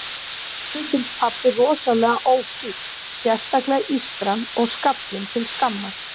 Ömmu finnst pabbi rosalega ófínn, sérstaklega ístran og skallinn til skammar.